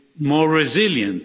more resilient?